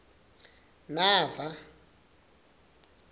nava